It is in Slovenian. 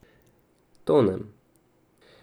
Tonem.